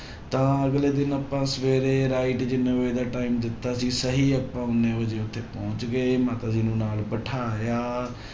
ਤਾਂ ਅਗਲੇ ਦਿਨ ਆਪਾਂ ਸਵੇਰੇ right ਜਿੰਨੇ ਵਜੇ ਦਾ time ਦਿੱਤਾ ਸੀ ਸਹੀ ਆਪਾਂ ਉਨੇ ਵਜੇ ਉੱਥੇ ਪਹੁੰਚ ਗਏ ਮਾਤਾ ਜੀ ਨਾਲ ਬਿਠਾਇਆ